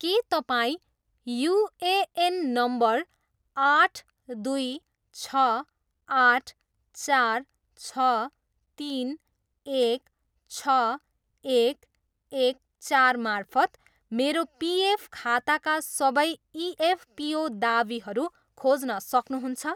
के तपाईँँ UAN number आठ दुई छ आठ चार छ तिन एक छ एक एक चार मार्फत मेरो पिएफ खाताका सबै इएफपिओ दावीहरू खोज्न सक्नुहुन्छ